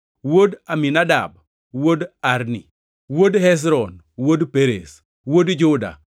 wuod Aminadab, wuod Arni, wuod Hezron, wuod Perez, wuod Juda,